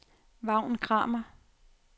Vagn Kramer